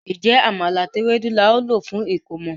Njé Àmàlà àti Ewédú ní ào ló fún ẹkọmọ?